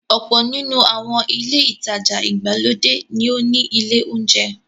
Ọ̀pọ̀ nínú àwọn ilé-ìtajà ìgbàlódé ní ó ní ilé-oúnjẹ.